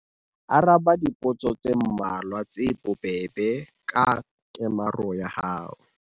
Araba dipotso tse mmalwa tse bobebe ka kemaro ya hao.